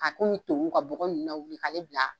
K'a komi tonkun ka bɔgɔ ninnu lawuli k'al bila.